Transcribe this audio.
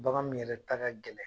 Bagan min yɛrɛ ta ka gɛlɛn